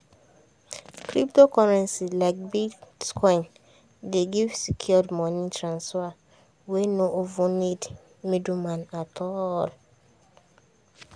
cryptocurrency like bitcoin dey give secure money transfer wey no even need middleman at all.